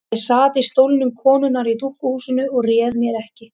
Ég sat í stólnum konunnar í dúkkuhúsinu og réð mér ekki.